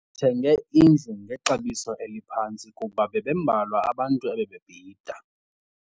Sithenge indlu ngexabiso eliphantsi kuba bebembalwa abantu ebebebhida.